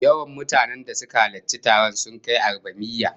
Yawan mutanen da suka halarci taron sun kai arbamiyya